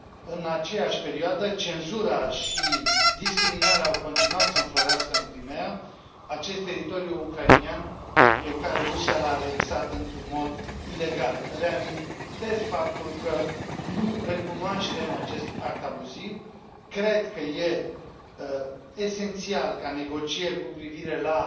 În aceeași perioadă, cenzura și discriminarea au continuat să înflorească în Crimeea, acest teritoriu ucrainean pe care Rusia l a anexat în mod ilegal reamintesc faptul că nu recunoaștem acest act abuziv. Cred că este esențial ca negocieri cu privire la